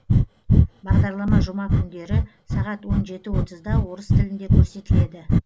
бағдарлама жұма күндері сағат он жеті отызда орыс тілінде көрсетіледі